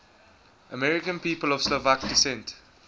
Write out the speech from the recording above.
american people of slovak descent